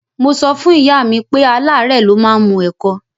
Mo sọ fún ìyá mi pé aláárẹ̀ ló máa ń mu ẹ̀kọ